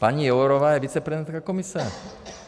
Paní Jourová je vicepremiérka Komise.